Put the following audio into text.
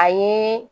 A ye